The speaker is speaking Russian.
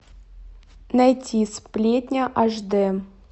найти сплетня аш д